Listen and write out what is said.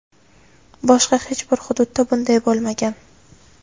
Boshqa hech bir hududda bunday bo‘lmagan.